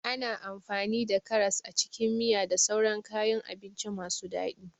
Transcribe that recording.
Ana amfani da karas a cikin miya da sauran kayan abinci masu daɗi.